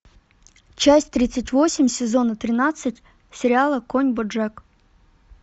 часть тридцать восемь сезона тринадцать сериала конь боджек